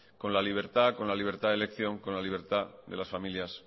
con la libertad con la libertad de elección con la libertad de las familias